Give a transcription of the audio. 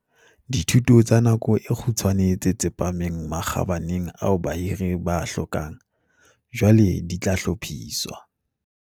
Dithuto tsa nako e kgutshwane tse tsepameng makgabaneng ao bahiri ba a hlokang, jwale di tla hlophiswa.